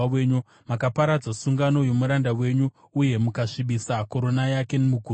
Makaparadza sungano yomuranda wenyu uye mukasvibisa korona yake muguruva.